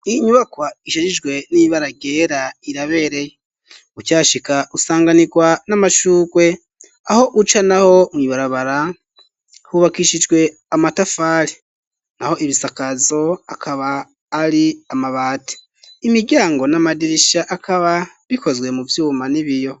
Iyi nyubakwa, ishajijwe n'ibara ryera, irabereye; ukihashika, usanganirwa n'amashurwe; aho uca naho, mw’ibarabara, hubakishijwe amatafari, naho ibisakazo, akaba ari amabati; imiryango n'amadirisha, akaba, bikozwe mu vyuma n'ibiyo.